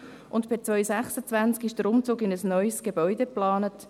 Per 2026 ist der Umzug in ein neues Gebäude geplant.